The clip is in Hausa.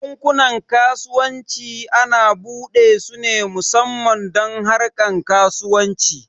Bankunan kasuwanci ana buɗe su ne musamman don harkar kasuwanci